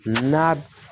N'a